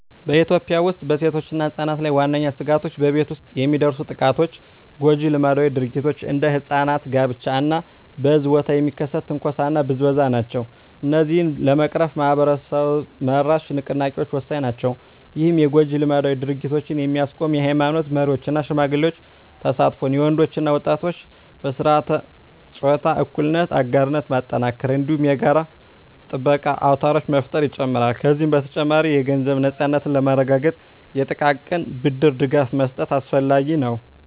በኢትዮጵያ ውስጥ በሴቶችና ሕጻናት ላይ ዋነኛ ስጋቶች በቤት ውስጥ የሚደርሱ ጥቃቶች፣ ጎጂ ልማዳዊ ድርጊቶች (እንደ ሕጻናት ጋብቻ) እና በሕዝብ ቦታ የሚከሰት ትንኮሳና ብዝበዛ ናቸው። እነዚህን ለመቅረፍ ማኅበረሰብ-መራሽ ንቅናቄዎች ወሳኝ ናቸው። ይህም የጎጂ ልማዳዊ ድርጊቶችን የሚያስቆም የኃይማኖት መሪዎች እና ሽማግሌዎች ተሳትፎን፣ የወንዶች እና ወጣቶች በሥርዓተ-ፆታ እኩልነት አጋርነት ማጠናከርን፣ እንዲሁም የጋራ ጥበቃ አውታሮችን መፍጠርን ይጨምራል። ከዚህ በተጨማሪ፣ የገንዘብ ነፃነትን ለማረጋገጥ የጥቃቅን ብድር ድጋፍ መስጠት አስፈላጊ ነው።